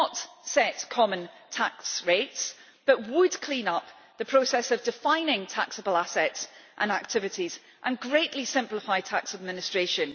would not set common tax rates, but would clean up the process of defining taxable assets and activities and greatly simplify tax administration.